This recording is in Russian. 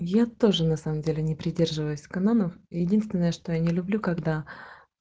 я тоже на самом деле не придерживаюсь кононов единственное что я не люблю когда